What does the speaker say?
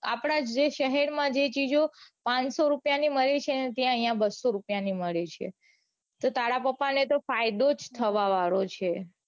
આપડા જે શહેર માં જે ચીઝો પાંચસો રૂપિયા ની મળી છે ને ત્યાં અઇયા બસો રૂપિયા ની મળી છે. તો તારા પપા ને તો ફાયદો જ થવા વાળો છે.